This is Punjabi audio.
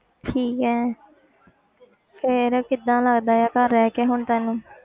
ਠੀਕ ਹੈ ਫਿਰ ਕਿੱਦਾਂ ਲੱਗਦਾ ਹੈ ਘਰ ਰਹਿ ਕੇ ਹੁਣ ਤੈਨੂੰ